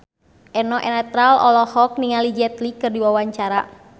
Eno Netral olohok ningali Jet Li keur diwawancara